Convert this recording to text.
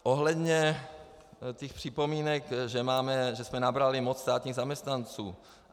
Ohledně těch připomínek, že jsme nabrali moc státních zaměstnanců.